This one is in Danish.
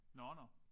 Nåh nåh